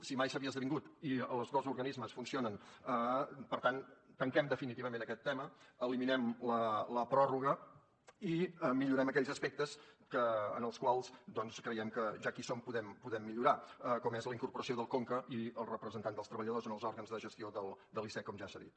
si mai s’havia esdevingut i els dos organismes funcionen per tant tanquem definitivament aquest tema eliminem la pròrroga i millorem aquells aspectes que doncs creiem que ja que hi som podem millorar com és la incorporació del conca i els representants dels treballadors en els òrgans de gestió de l’icec com ja s’ha dit